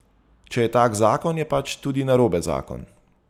Če je tak zakon, je pač tudi narobe zakon.